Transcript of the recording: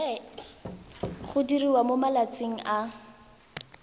go diriwa mo malatsing a